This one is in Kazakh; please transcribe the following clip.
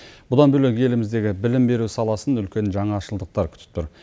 бұдан бөлек еліміздегі білім беру саласын үлкен жаңашылдықтар күтіп тұр